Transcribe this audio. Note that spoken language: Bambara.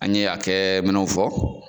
An ye hakɛ minnu fɔ